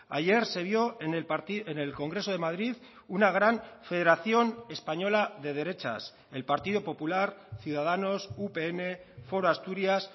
ayer se vio en el congreso de madrid una gran federación española de derechas el partido popular ciudadanos upn foro asturias